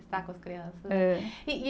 Estar com as crianças. É. E, e